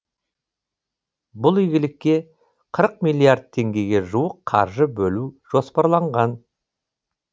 бұл игілікке қырық миллиард теңгеге жуық қаржы бөлу жоспарланған